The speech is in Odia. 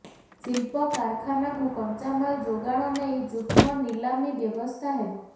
ଶିଳ୍ପ କାରଖାନାକୁ କଞ୍ଚାମାଲ୍ ଯୋଗାଣ ନେଇ ଯୁଗ୍ମ ନିଲାମୀ ବ୍ୟବସ୍ଥା ହେବ